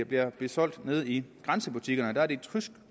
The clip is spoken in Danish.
bliver solgt nede i grænsebutikkerne det er et tysk